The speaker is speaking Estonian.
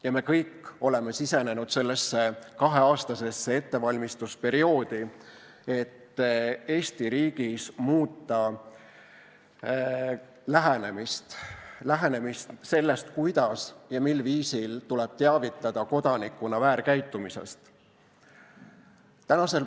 Ja me kõik oleme sisenenud sellesse kaheaastasesse ettevalmistusperioodi, et Eesti riigis muuta lähenemist sellele, kuidas ja mil viisil tuleb teavitada kodanikuna väärkäitumisest.